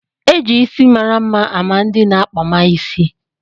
E ji isi mara mma a ma ndị na-akpama isi.